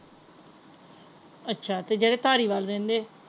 ਅੱਛਾ ਤੇ ਜਿਹੜੇ ਧਾਰੀਵਾਲ ਵੱਲ ਰਹਿੰਦੇ ਹੈ।